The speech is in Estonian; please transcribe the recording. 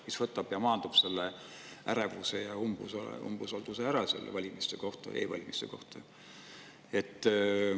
See võtaks ära ja maandaks selle ärevuse ja umbusalduse e-valimiste vastu.